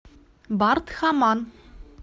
бардхаман